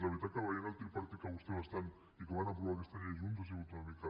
la veritat és que veient el tripartit en què vostès van estar i en què van aprovar aquesta llei junts ha sigut una mica